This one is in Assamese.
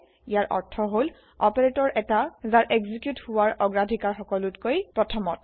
ইয়াৰ অৰ্থ হল160 অপাৰেতৰ এটা যাৰ এক্সেকিউত হোৱাৰ অগ্ৰাধিকাৰ সকলোতকৈ প্ৰথমত